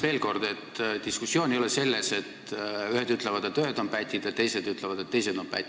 Veel kord: küsimus ei ole selles, et ühed ütlevad, et ühed on pätid, ja teised ütlevad, et teised on pätid.